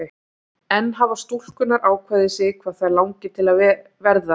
En hafa stúlkurnar ákveðið sig hvað þær langar til að verða?